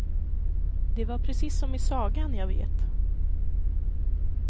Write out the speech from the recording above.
Det var precis som i sagan, jag vet.